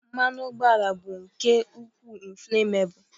mmanụ ụgbọala bụ nke ukwuu inflammable